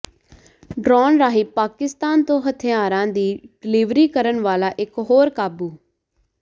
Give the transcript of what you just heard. drone ਰਾਹੀਂ ਪਾਕਿਸਤਾਨ ਤੋਂ ਹਥਿਆਰਾਂ ਦੀ ਡਿਲੀਵਰੀ ਕਰਨ ਵਾਲਾ ਇੱਕ ਹੋਰ ਕਾਬੂ